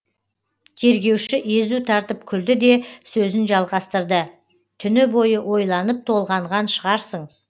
тергеуші езу тартып күлді де сөзін жалғастырды түні бойы ойланып толғанған шығарсың